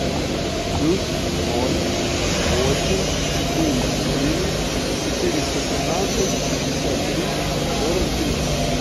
плюс ноль восемь четыре четыре четыреста тринадцать шестьдесят три сорок три